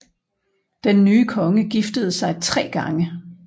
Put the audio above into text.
Den nye konge giftede sig tre gange